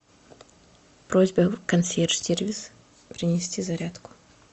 просьба консьерж сервис принести зарядку